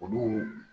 Olu